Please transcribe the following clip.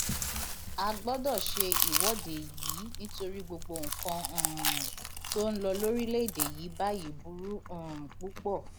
a gbọdọ ṣe ìwọde yìí nítorí gbogbo nǹkan um tó ń lọ lórílẹèdè yìí báyìí burú um púpọ